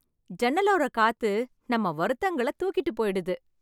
ஜன்னலோர காத்து நம்ம வருத்தம்களை தூக்கிட்டு போய்டுது